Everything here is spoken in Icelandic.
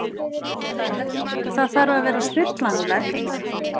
Það þarf að vera stillanlegt.